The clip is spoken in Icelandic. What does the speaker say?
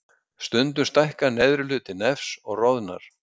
Stundum stækkar neðri hluti nefs og roðnar.